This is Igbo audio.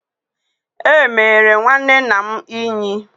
Emere nwanne nna m Ínyì.